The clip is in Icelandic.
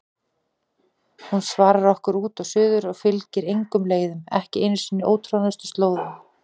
Hún svarar okkur út og suður og fylgir engum leiðum, ekki einu sinni ótroðnustu slóðum.